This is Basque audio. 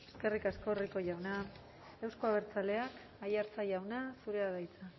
eskerrik asko rico jauna euzko abertzaleak aiartza jauna zurea da hitza